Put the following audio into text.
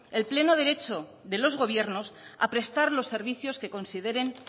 el pleno derecho de los gobiernos a prestar los servicios que consideren